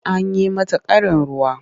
An yi mata ƙarin ruwa.